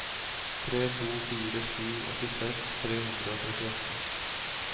tre to fire sju åttiseks tre hundre og trettiåtte